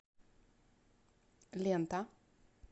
лента